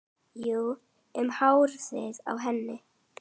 Jú, um hárið á henni!